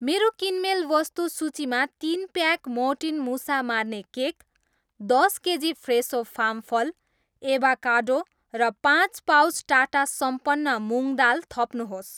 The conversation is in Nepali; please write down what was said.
मेरो किनमेल वस्तु सूचीमा तिन प्याक मोर्टिन मुसा मार्ने केक, दस केजी फ्रेसो फामफल, एभाकाडो र पाँच पाउच टाटा सम्पन्न मुङ दाल थप्नुहोस्